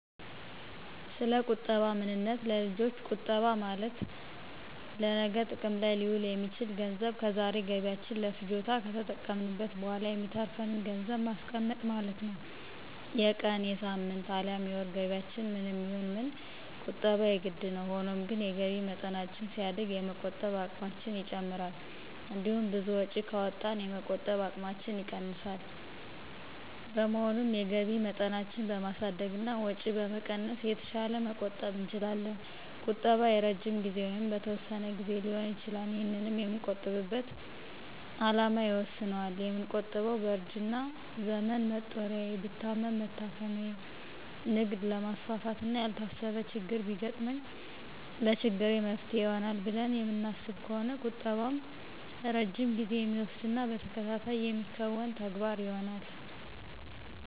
ሰለቁጠባ ምንነት ለልጆች ቁጠባ ማለት ለነገ ጥቅም ላይ ሊውል የሚችል ገንዘብ ከዛሬ ገቢያችን ለፍጆታ ከተጠቀምንት በኋላ የሚተርፍን ገንዘብን ማስቀመጥ ማለት ነው። የቀን፣ የሳምንት፣ አልያም የወር ገቢያችን ምንም ይሁን ምን ቁጠባ የግድ ነው። ሆኖም ግን የገቢ መጠናችን ሲያድግ የመቆጠብ አቅማችን ይጨምራል። እንዲሁም ብዙ ወጪ ካወጣን የመቆጠብ አቅማችን ይቀንሳል። በመሆኑም የገቢ መጠናችንን በማሳደግና ወጪ በመቀነስ የተሻለ መቆጠብ እንችላለን። ቁጠባ የረጅም ጊዜ ወይንም በተወሰነ ግዜ ሊሆን ይችላል። ይህንንም የምንቆጥብበት አላማ ይወስነዋል። የምንቆጥበው በእርጅና ዘመን መጦሪያዬ፣ ብታመም መታከሚያየ፣ ንግድ ላማስፋፋት፣ እና ያልታሰበ ችግር ቢገጥመኝ ለችግሬ መፍትሔ ይሆናል ብለን የምናስብ ከሆነ ቁጠባም ረጅም ጊዜ የሚወስድና በተከታታይ የሚከናወን ተግባር ይሆናል።